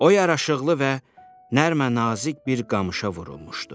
O yaraşıqlı və nərənazik bir qamışa vurulmuşdu.